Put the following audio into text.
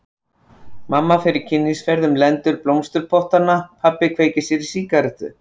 Mamma fer kynnisferð um lendur blómsturpottanna, pabbi kveikir sér í sígarettu.